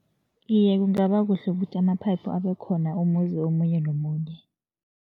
Iye, kungaba kuhle ukuthi ama-pipe abe khona umuzi omunye nomunye.